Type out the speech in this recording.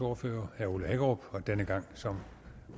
ordfører herre ole hækkerup og denne gang som